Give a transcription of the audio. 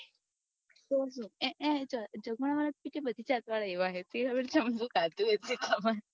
જગણા વાળા તો પીટ્યા તો બધી જાત વાળા એવા હૈ સી ખબર ચમ